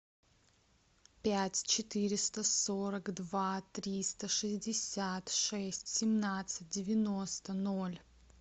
пять четыреста сорок два триста шестьдесят шесть семнадцать девяносто ноль